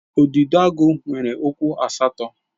Udidoagu nwere ụkwụ asatọ.